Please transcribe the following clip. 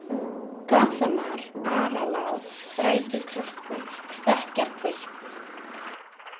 Gathamar, Aralág, Þrætuklakkur, Stekkjarhvilft